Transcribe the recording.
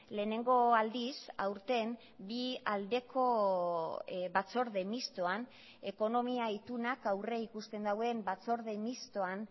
lehenengo aldiz aurten bi aldeko batzorde mistoan ekonomia itunak aurrikusten duen batzorde mistoan